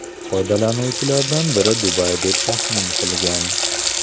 Foydalanuvchilardan biri Dubay deb taxmin qilgan.